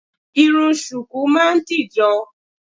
Irun ṣùkú máa ń dìjọ